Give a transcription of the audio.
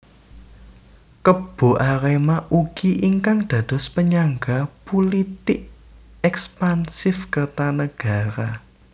Kebo Arema ugi ingkang dados penyangga pulitik ekspansif Kertanagara